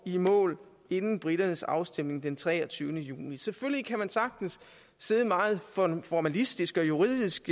i mål inden briternes afstemning den treogtyvende juni selvfølgelig kan man sagtens se meget formalistisk og juridisk